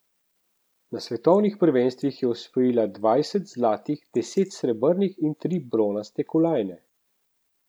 Na svetovnih prvenstvih je osvojila dvajset zlatih, deset srebrnih in tri bronaste kolajne.